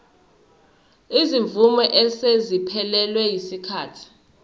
izimvume eseziphelelwe yisikhathi